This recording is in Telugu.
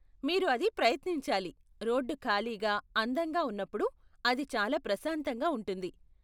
మీరు అది ప్రయతించాలి, రోడ్డు ఖాళీగా, అందంగా ఉన్నప్పుడు అది చాలా ప్రశాంతంగా ఉంటుంది.